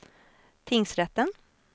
tingsrätten